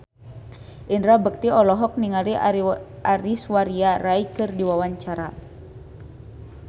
Indra Bekti olohok ningali Aishwarya Rai keur diwawancara